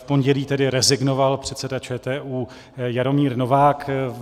V pondělí tedy rezignoval předseda ČTÚ Jaromír Novák.